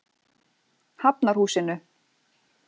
Hafnarhúsinu